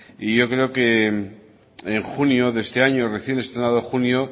y yo creo que en junio de este año recién estrenado junio